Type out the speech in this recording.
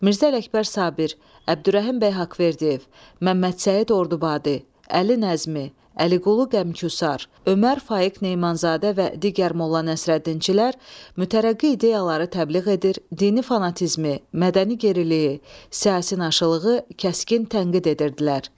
Mirzə Ələkbər Sabir, Əbdürrəhim bəy Haqverdiyev, Məmməd Səid Ordubadi, Əli Nəzmi, Əliqulu Qəmküsar, Ömər Faiq Nemanzadə və digər Molla Nəsrəddinçilər mütərəqqi ideyaları təbliğ edir, dini fanatizmi, mədəni geriliyi, siyasi naşılığı kəskin tənqid edirdilər.